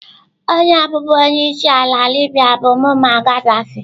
Onye bụbu onye isi ala Libya bụ Mummar Ghadaffi.